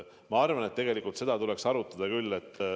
Ma arvan, et tegelikult seda tuleks arutada küll.